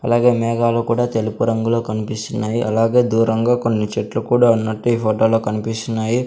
అలాగే మేఘాలు కూడా తెలుపు రంగులో కనిపిస్తున్నాయి అలాగే దూరంగా కొన్ని చెట్లు కూడా ఉన్నట్టు ఈ ఫోటోలో కనిపిస్తున్నాయి.